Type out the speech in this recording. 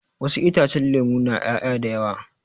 Wasu itacen lemu na ƴaya da yawa